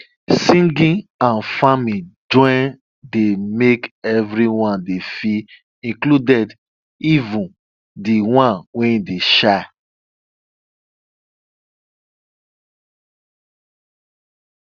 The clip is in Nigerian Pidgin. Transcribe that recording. singing and farming join dey make everyone dey feel included even de ones wey dey shy